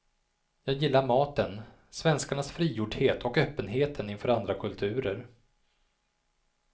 Jag gillar maten, svenskarnas frigjordhet och öppenheten inför andra kulturer.